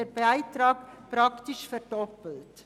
Ihr Beitrag würde praktisch verdoppelt.